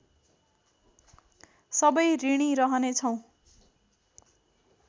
सबै ऋणी रहने छौँ